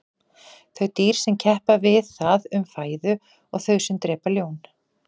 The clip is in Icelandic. þau dýr sem keppa við það um fæðu og þau sem drepa ljón